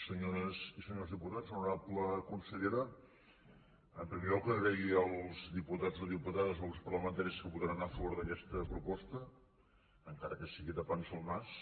senyores i senyors diputats honorable consellera en primer lloc donar les gràcies als diputats o diputades o grups parlamentaris que votaran a favor d’aquesta proposta encara que sigui tapant se el nas